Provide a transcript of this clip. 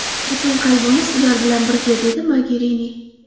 Butun qalbimiz ular bilan birga”, dedi Mogerini.